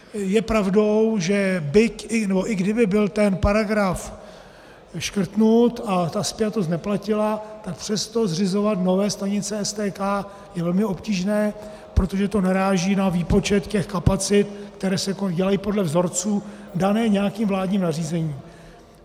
Je pravdou, že i kdyby byl ten paragraf škrtnut a ta spjatost neplatila, tak přesto zřizovat nové stanice STK je velmi obtížné, protože to naráží na výpočet těch kapacit, které se dělají podle vzorců dané nějakým vládním nařízením.